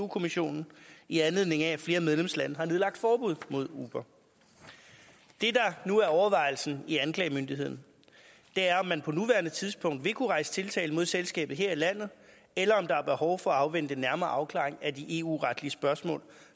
kommissionen i anledning af at flere medlemslande har nedlagt forbud mod uber det der nu er overvejelsen i anklagemyndigheden er om man på nuværende tidspunkt vil kunne rejse tiltale mod selskabet her i landet eller om der er behov for at afvente en nærmere afklaring af de eu retlige spørgsmål